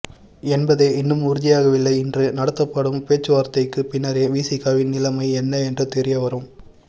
என்பதே இன்னும் உறுதியாகவில்லை இன்று நடத்தப்படும் பேச்சுவார்த்தைக்கு பின்னரே விசிகவின் நிலைமை என்ன என்று தெரிய வரும்